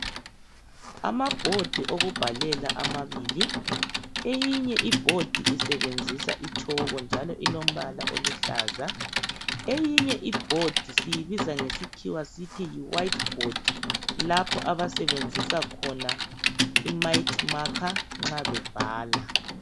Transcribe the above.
ama bhodi awokubhalela amabili eyinye ibhodi isebenzisa itshoko njalo ilompala oluhlaza eyinye ibhodi siyibiza ngesikhiwa sithi wayithi bhodi lapha abasebenzisa khona i mathimakha nxa bebhala